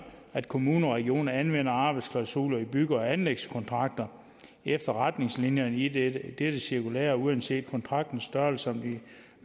at kommuner og regioner anvender arbejdsklausuler i bygge og anlægskontrakter efter retningslinjerne i dette dette cirkulære uanset kontraktens størrelse samt i